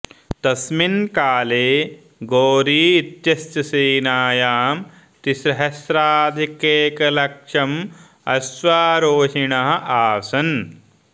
तस्मिन् काले घोरी इत्यस्य सेनायां त्रिसहस्राधिकैकलक्षम् अश्वारोहिणः आसन्